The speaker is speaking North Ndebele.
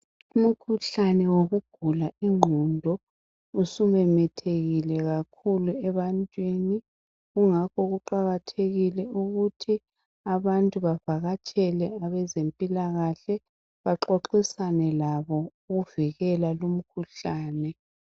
Umkhuhlane wokugula ingqondo usumemethekile kakhulu ebantwini. Kungakho kuqakathekile ukuthi abantu bavakatshele abezempilakahle baxoxisane labo ukuvikela lumkhuhlane.